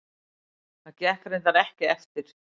Það gekk reyndar ekki eftir.